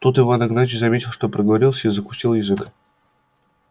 тут иван игнатьич заметил что проговорился и закусил язык